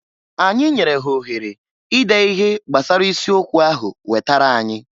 Anyị nyere ha ohere ide ihe gbasara isi okwu ahu wetara anyị.